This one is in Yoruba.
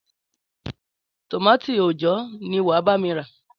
Tòmátì òòjó ni wà á bá mi rà.